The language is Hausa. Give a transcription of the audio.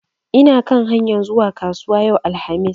Ina kan hanyar zuwa kasuwa yau alhamis.